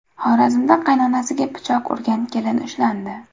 Xorazmda qaynonasiga pichoq urgan kelin ushlandi.